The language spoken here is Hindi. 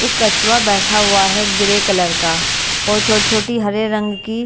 एक कछुआ बैठा हुआ है ग्रे कलर का और छोटी-छोटी हरे रंग की --